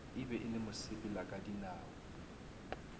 e be e le mosepelakadinao